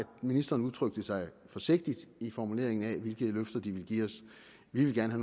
ministeren udtrykte sig forsigtigt i formuleringen af hvilke løfter de ville give os vi ville gerne